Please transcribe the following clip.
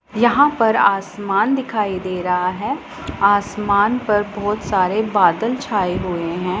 यहां पर आसमान दिखाई दे रहा हैं आसमान पर बहुत सारे बादल छाए हुए हैं।